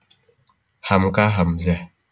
Hamka Hamzah